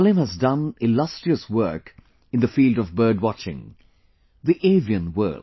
Salim has done illustrious work in the field of bird watching the avian world